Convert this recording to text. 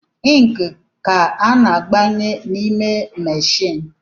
Inki ka a na-agbanye n’ime machine